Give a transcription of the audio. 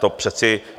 To přece...